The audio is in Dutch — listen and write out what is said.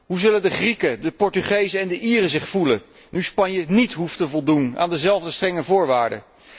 Hoe zullen de Grieken, de Portugezen en de Ieren zich voelen, nu Spanje niet hoeft te voldoen aan dezelfde strenge voorwaarden?